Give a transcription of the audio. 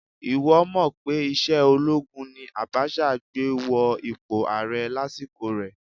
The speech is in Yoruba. Ìwọ́ mọ̀ pé ìṣe olóogun ni Abacha gbé wọ ipò ààrẹ lásìkò rẹ̀?